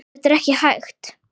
Þetta er ekki hægt.